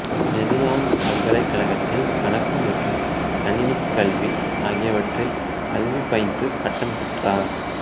Maryland பல்கலைக் கழகத்தில் கணக்கு மற்றும் கணினிக் கல்வி ஆகியவற்றில் கல்வி பயின்று பட்டம் பெற்றார்